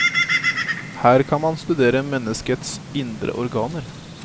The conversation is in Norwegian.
Her kan man studere menneskets indre organer.